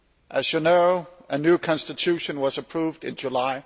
As you know, a new Constitution was approved in July.